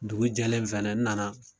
Dugu jɛlen fɛnɛ n nana